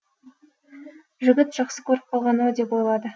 жігіт жақсы көріп қалған ау деп ойлады